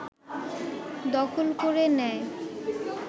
দখল করে নেয়